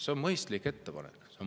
See on mõistlik ettepanek.